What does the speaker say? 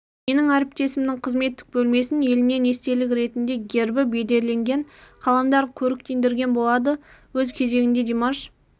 менің әріптесімнің қызметтік бөлмесін елінен естелік ретінде гербі бедерленген қаламдар көріктендіретін болады өз кезегінде димаш